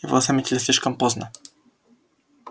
его заметили слишком поздно